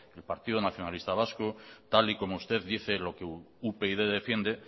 el partido nacionalista vasco tal y como usted dice lo que upyd defiende